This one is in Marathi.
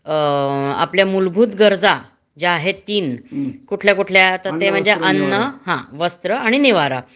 अ आपल्या मुलभूत गरजा ज्या आहेत तीन कुठल्या कुठल्या?ते म्हणजे अन्न वस्त्र आणि निवारा